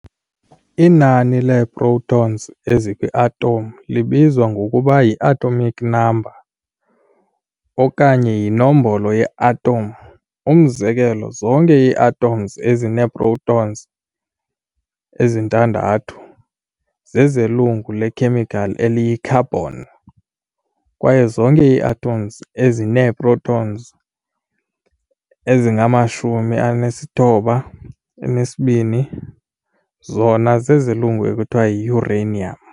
Inani lee-protons ezikwi-atom libizwa ngokuba yi-atomic number okanye yinombolo ye-atom, umzekelo, zonke ii-atoms ezinee-protons ezi-6 zezelungu lekhemikhali eliyi-carbon, kwaye zonke ii-atoms ezinee-protons ezingama-92 zona zezelungu ekuthiwa yi-uranium.